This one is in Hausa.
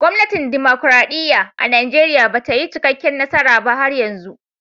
Gwamnatin dimokuradiyya a'Nijeriya bata yi cikaken nasara ba har yanzu.